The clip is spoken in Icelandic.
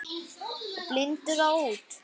Og blindur á út.